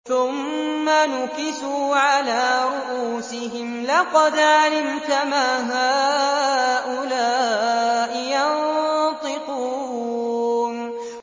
ثُمَّ نُكِسُوا عَلَىٰ رُءُوسِهِمْ لَقَدْ عَلِمْتَ مَا هَٰؤُلَاءِ يَنطِقُونَ